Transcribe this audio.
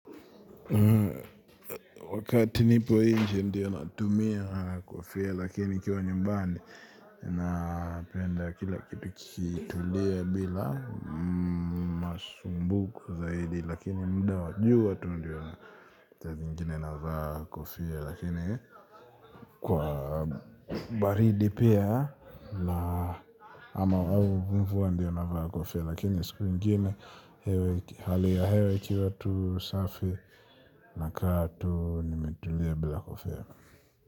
Wakati nipo inje ndio natumia kofia lakini nikiwa nyumbani napenda kila kitukitulie bila masumbuko zaidi lakini muda wa jua tu ndio saa zingine navaa kofia lakini kwa baridi pia ama wau mvua ndio navaa kofia. Lakini siku ingine hali ya hewe ikiwa tu safi nakaa tu nimetulia bila kofia.